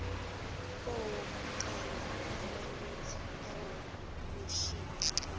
kowokuqala amanothi ahunyushiwe